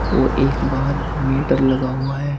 और एक बाहर मीटर लगा हुआ है।